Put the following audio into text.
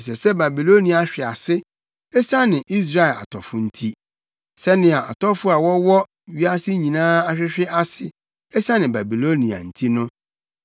“Ɛsɛ sɛ Babilonia hwe ase, esiane Israel atɔfo nti sɛnea atɔfo a wɔwɔ wiase nyinaa ahwehwe ase esiane Babilonia nti no.